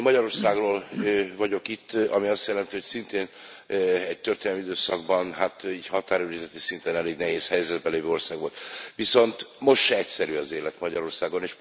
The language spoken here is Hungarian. Én Magyarországról vagyok itt, ami azt jelenti, hogy szintén egy történelmi időszakban határőrizeti szinten elég nehéz helyzetben lévő ország volt. Viszont most se egyszerű az élet Magyarországon.